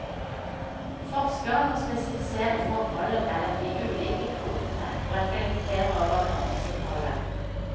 Forskeren må spesifisere forholdet mellom de ulike kodene og reflektere over meningsinnholdet.